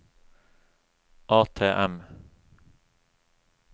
ATM